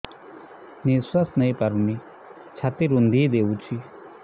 ନିଶ୍ୱାସ ନେଇପାରୁନି ଛାତି ରୁନ୍ଧି ଦଉଛି